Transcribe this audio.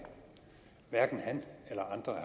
hverken han eller andre